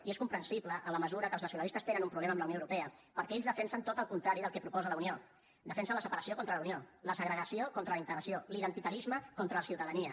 i és comprensible en la mesura que els nacionalistes tenen un problema amb la unió europea perquè ells defensen tot el contrari del que proposa la unió defensen la separació contra la unió la segregació contra la integració l’identitarisme contra la ciutadania